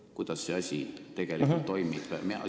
Kuidas see asi tegelikult toimub?